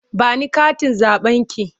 Ba ni katin zaɓenki!